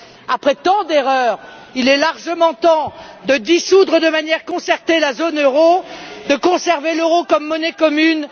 là. Après tant d'erreurs, il est largement temps de dissoudre, de manière concertée, la zone euro, de ne plus conserver l'euro comme monnaie commune.